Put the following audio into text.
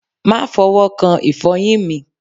Ma fọwọ́ kan ìfọyín mi.